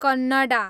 Kannada